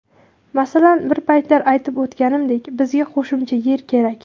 Masalan, bir paytlar aytib o‘tganimdek, bizga qo‘shimcha yer kerak.